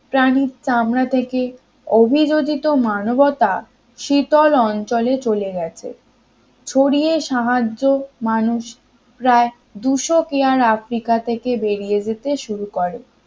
প্রাণীর চামড়া থেকে অভিরোচিত মানবতা শীতল অঞ্চলে চলে গেছে শরীরের সাহায্যে মানুষ প্রায় দুইশ কিয়ার আফ্রিকা থেকে বেরিয়ে যেতে শুরু করে